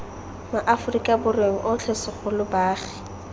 maaforika borweng otlhe segolo baagi